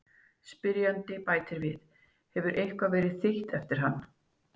Spyrjandi bætir við: Hefur eitthvað verið þýtt eftir hann?